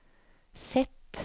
Z